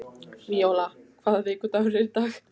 Víóla, hvaða vikudagur er í dag?